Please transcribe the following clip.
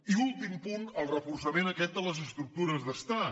i últim punt el reforçament aquest de les estructures d’estat